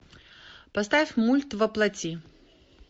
поставь мульт во плоти